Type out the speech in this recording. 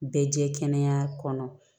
Bɛɛ jɛ kɛnɛ